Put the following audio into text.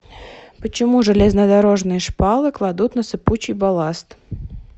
почему железнодорожные шпалы кладут на сыпучий балласт